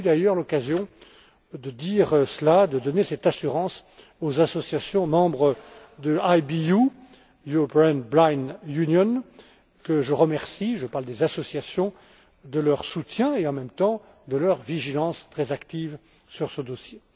J'ai eu, d'ailleurs, l'occasion de dire cela, de donner cette assurance aux associations membres de la EBU que je remercie je parle des associations de leur soutien et, en même temps, de leur vigilance très active sur ce dossier.